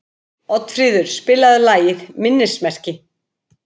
Oddfríður, spilaðu lagið „Minnismerki“.